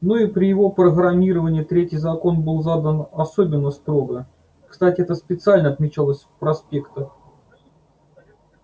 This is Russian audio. ну и при его программировании третий закон был задан особенно строго кстати это специально отмечалось в проспектах